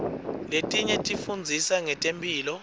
letinye tifundzisa ngetemphilo